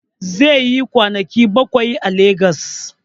Zai yi kwanaki bakwai a legos